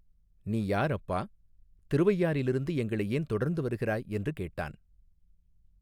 நீ யார் அப்பா திருவையாற்றிலிருந்து எங்களை ஏன் தொடர்ந்து வருகிறாய் என்று கேட்டான்.